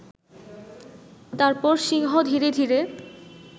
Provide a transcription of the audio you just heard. তারপর সিংহ ধীরে ধীরে